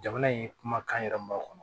Jamana in kumakan yɛrɛ ma